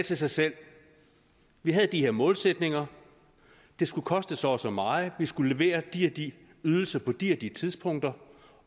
sig selv vi havde de her målsætninger det skulle koste så og så meget og vi skulle levere de og de ydelser på de og de tidspunkter